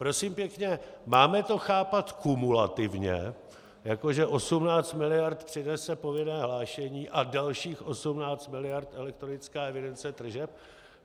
Prosím pěkně, máme to chápat kumulativně, jako že 18 miliard přinese povinné hlášení a dalších 18 miliard elektronická evidence tržeb?